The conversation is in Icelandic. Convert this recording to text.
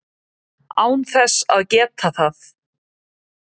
án þess að geta það.